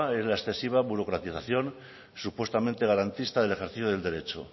es la excesiva burocratización supuestamente garantista del ejercicio del derecho